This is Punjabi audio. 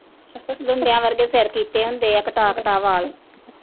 ਲੁੰਡਿਆ ਵਰਗੇ ਸਿਰ ਕੀਤੇ ਹੁੰਦੇ ਆ ਕਟਾ ਕਟਾ ਵਾਲ।